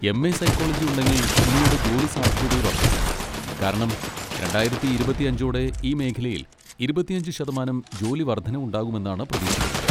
MA. Psychology ഉണ്ടെങ്കിൽ നിങ്ങളുടെ ജോലി സാധ്യതകൾ വർധിക്കും, കാരണം രണ്ടായിരത്തി ഇരുപത്തിയഞ്ചോടെ ഈ മേഖലയിൽ ഇരുപത്തിയഞ്ച് ശതമാനം ജോലി വർദ്ധനവുണ്ടാകുമെന്നാണ് പ്രതീക്ഷിക്കുന്നത്.